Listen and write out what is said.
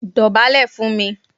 Dọ̀bálẹ̀ fún mi!